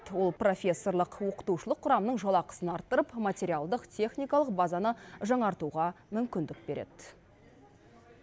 ол профессорлық оқытушылық құрамның жалақысын арттырып материалдық техникалық базаны жаңартуға мүмкіндік береді